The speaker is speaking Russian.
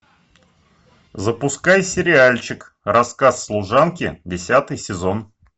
запускай сериальчик рассказ служанки десятый сезон